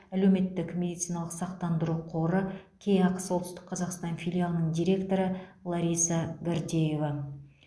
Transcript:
әлеуметтік медициналық сақтандыру қоры кеақ солтүстік қазақстан филиалының директоры лариса гордеева